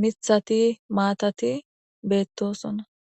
mithati maatati beettosonna